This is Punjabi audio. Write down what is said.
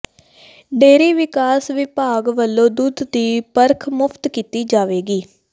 ਡੇਅਰੀ ਵਿਕਾਸ ਵਿਭਾਗ ਵੱਲੋਂ ਦੁੱਧ ਦੀ ਪਰਖ ਮੁਫਤ ਕੀਤੀ ਜਾਵੇਗੀ